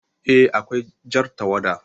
Eh, Akwai Jar tawada